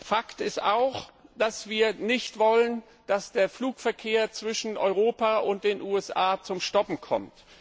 Fakt ist auch, dass wir nicht wollen, dass der Flugverkehr zwischen Europa und den USA zum Stillstand kommt.